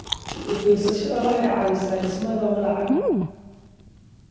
U-fiirsashadu waxay caawisaa dhimista walaaca.